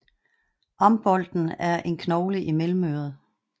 Ambolten er en knogle i mellemøret